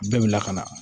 Bɛɛ wulila ka na